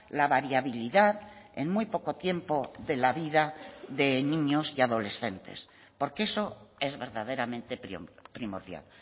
la variabilidad en muy poco tiempo de la vida de niños y adolescentes porque eso es verdaderamente primordial